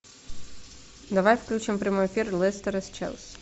давай включим прямой эфир лестера с челси